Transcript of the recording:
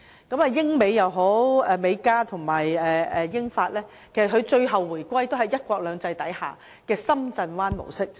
無論是英美、美加或英法，其實最後都是回歸"一國兩制"下的深圳灣模式。